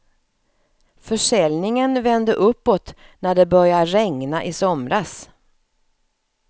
Försäljningen vände uppåt när det började regna i somras.